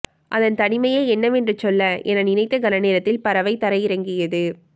அதன் தனிமையை என்னவென்று சொல்ல என நினைத்த கணநேரத்தில் பறவை தரையிறங்கியது